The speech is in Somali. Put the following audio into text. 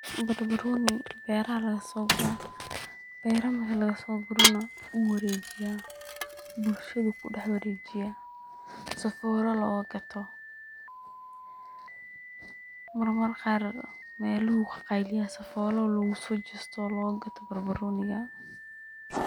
Barbarooni beeraha lagaso guraa, beera marki lagaso guro na wuu wareejiya ,bulshadu kudhax wareejiya sifola loga gato, marmar qaar melah ayu ka qayliyaa sifolo loguso jesto oo loga gato barbarooniga